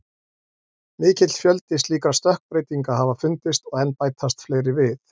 Mikill fjöldi slíkra stökkbreytinga hafa fundist og enn bætast fleiri við.